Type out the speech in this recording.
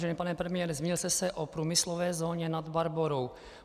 Vážený pane premiére, zmínil jste se o průmyslové zóně Nad Barborou.